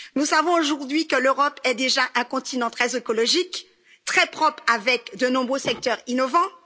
Nous savons aujourd'hui que l'Europe est déjà un continent très écologique, très propre, avec de nombreux secteurs innovants.